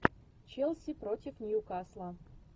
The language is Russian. челси против ньюкасла